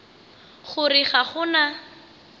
go re ga go na